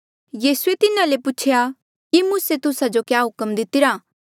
यीसूए तिन्हा ले पूछेया कि मूसे तुस्सा जो क्या हुक्म दितिरा